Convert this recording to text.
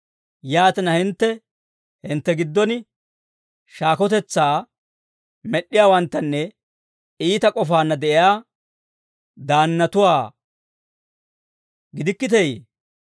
yaatina hintte hintte giddon shaakotetsaa med'd'iyaawanttanne iita k'ofaanna de'iyaa daannatuwaa gidikkiteeyee?